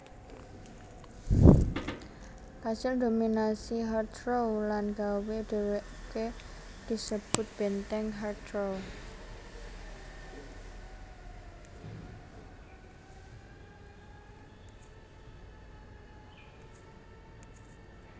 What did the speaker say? kasil ndominasi Heathrow lan nggawé déwéké disebut Benteng Heathrow